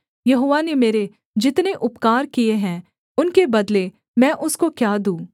यहोवा ने मेरे जितने उपकार किए हैं उनके बदले मैं उसको क्या दूँ